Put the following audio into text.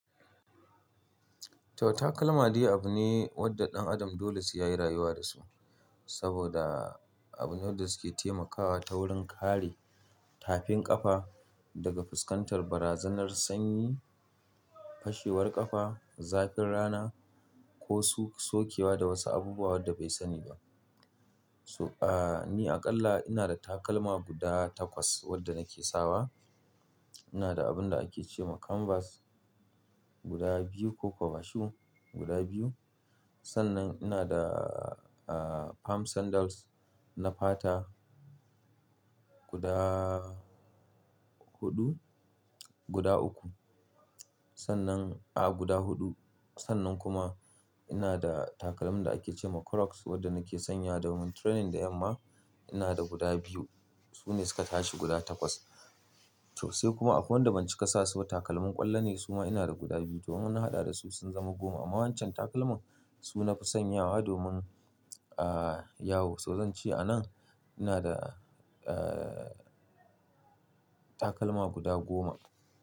To takalma dai abu ne wadda ɗan adam dole sai ya yi rayuwa da su. Saboda abune wadda su ke taimakawa ta wurin kare tafin ƙafa daga fuskantar barazanar sanyi, fashewar ƙafa, zafin rana ko su sokewa da wasu abubuwa wadda bai sani ba. So, ah, ni aƙalla ina da takalma guda takwas wadda nake sawa. Ina da abun da ake ce ma canvas guda biyu ko kwavashu guda biyu. Sannan ina da, ah, palm sandals na fata guda huɗu, guda uku. Sannan, ah, guda huɗu. Sannan kuma ina da takalmin da ake ce ma Croos wadda nake sanya domin training da yamma. Ina da guda biyu. Su ne suka tashi guda takwas. To sai kuma akwai wanda ban cika sasu ba. Takalmin ƙwallo ne su ma ina da guda biyu toh in na haɗa dasu sun zama goma. Amma wan can takalman su nafi sanyawa domin, ah, yawo. So zan ce anan ina da, ah, takalma guda goma.